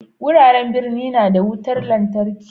Wuraren birni na da wutar lantarki.